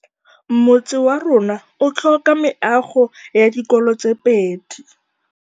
Motse warona o tlhoka meago ya dikolô tse pedi.